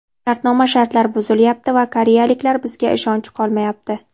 Shartnoma shartlari buzilayapti va koreyaliklar bizga ishonchi qolmayapti.